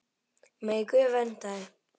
Megi Guð vernda þig.